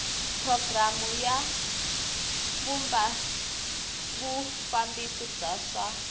programu ya vufambisi bya swa